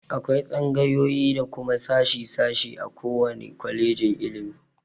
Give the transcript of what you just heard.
Akwai tsangayoyi da kuma sashi- sashi a ko wane kwalejin ilimi.